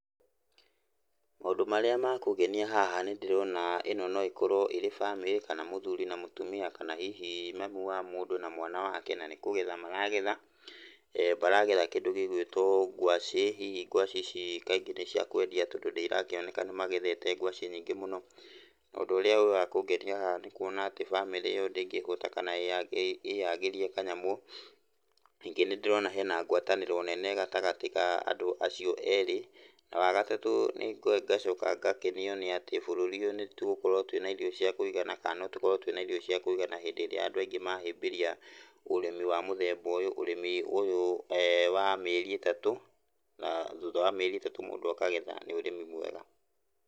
Maũndũ marĩa ma kũngenia haha nĩndĩrona ĩno no ĩkorwo ĩrĩ bamĩrĩ, kana mũthuri na mũtumia, kana hihi mami wa mũndũ na mwana wake, na ni kũgetha maragetha. Maregetha kĩndũ gĩgwĩtwo ngwacĩ, hihi ngwacĩ ici kaingĩ nĩ cia kwendia tondũ nĩironeka nĩmagethete ngwacĩ nyingĩ mũno. Na ũndũ ũrĩa wĩĩ wakũngenia haha nĩ kuona atĩ bamĩrĩ ĩyo ndĩngĩhũta kana ĩyagĩrie kanyamũ, ningĩ nĩndĩrona hena ngwatanĩro nene gatagatĩ ga andũ acio erĩ na wagatatũ ngacoka ngakenio nĩ atĩ bũrũri ũyũ nĩtũgũkorwo twĩna irio cia kũigana, kana notũkorwo twĩna irio cia kũigana hĩndĩ ĩrĩa andũ aingĩ mahĩmbĩrĩa ũrĩmi wa mũthemba ũyũ, ũrĩmi ũyũ wa mĩeri ĩtatũ, na thutha wa mĩeri ĩtatũ mũndũ akagetha, nĩ ũrĩmi mwega.